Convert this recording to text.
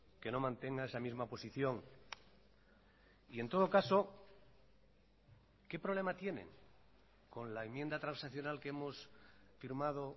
que no mantenga esa misma posición y en todo caso qué problema tienen con la enmienda transaccional que hemos firmado